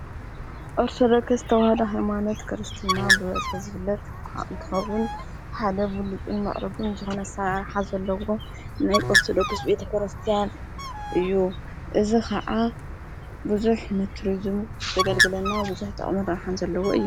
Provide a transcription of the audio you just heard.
አርደክስተውሃዶ ሃይማነት ክርስትና ብበጽ ዝብለጥ ኳእንክዉን ሓደ ብሉፁን መዕርጉን ዝኾነሳይ ኣርኃ ዘለዎ ናይ ወርተዶክስ ቤተ ክረስቲያን እዩ እዝ ኸዓ ብዙኅ ንቱርዙም ዘገልግለና ብዙኅ ጣቕምር ኣኃን ዘለዎ እዩ።